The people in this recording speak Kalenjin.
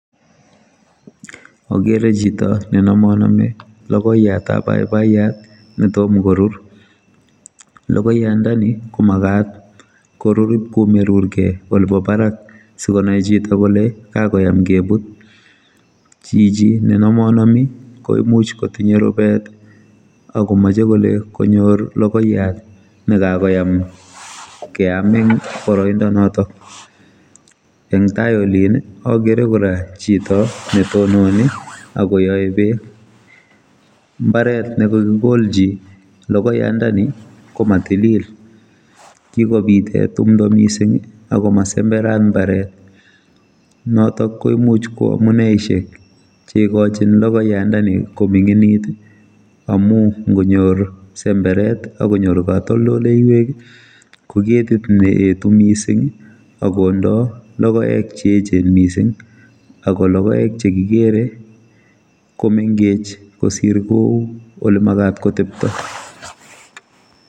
Akere chito nenamanami logoyatab baibaiyat netom korur logoyandoni komagat korur ibkomerir kei olebo barak sikonai chito kole kakoyam kebut chichi nenamanami komuch kotinye rubet akomeche kole konyor logoyat nekakoyam keam eng boroindo notok eng tai olin agere kora chito netonini akoyae bek mbaret nekakikolchi logoyandani komatilil kikobite timdo mising akomasemberat mbaret notok komuch koamuneishek cheikochin logoyandoni kominginit amu ngonyorr semberet akonyor katoldoleiwek koketit neetu mising akondoi lokoek cheechen mising akologoek chekikere komengech kosir kou olemagat kotepto.